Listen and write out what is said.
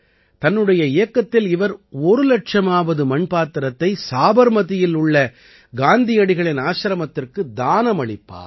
தன்னுடைய இயக்கத்தில் இவர் ஒரு இலட்சமாவது மண் பாத்திரத்தை சாபர்மதியில் உள்ள காந்தியடிகளின் ஆசிரமத்திற்கு தானமளிப்பார்